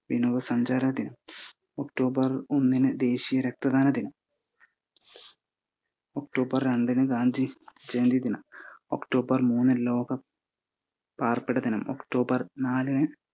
വിനോദ സഞ്ചാര ദിനം, ഒക്ടോബർ ഒന്നിന് ദേശിയ രക്ത ദാനദിനം, ഒക്ടോബർ രണ്ടിന് ഗാന്ധി ജയന്തി ദിനം, ഒക്ടോബര് മൂന്നിന് ലോ പാർപ്പിട ദിനം, ഒക്ടോബർ നാലിന്